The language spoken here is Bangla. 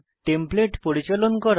টেমপ্লেট পরিচালন করা